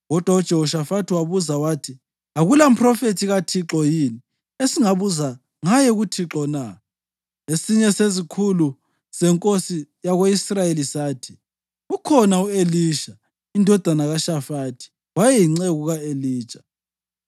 Kodwa uJehoshafathi wabuza wathi, “Akulamphrofethi kaThixo yini, esingabuza ngaye kuThixo na?” Esinye sezikhulu zenkosi yako-Israyeli sathi, “Ukhona u-Elisha indodana kaShafathi. Wayeyinceku ka-Elija.”